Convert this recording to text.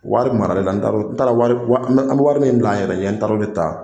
Wari maralen na n taara an bɛ wari min bila an yɛrɛ ɲɛ n taara o de ta